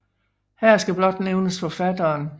Her skal blot nævnes forfatteren Johs